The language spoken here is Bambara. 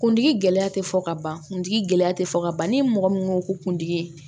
Kundigi gɛlɛya tɛ fɔ ka ban kuntigi gɛlɛya tɛ fɔ ka ban ni mɔgɔ min ko ko kuntigi ye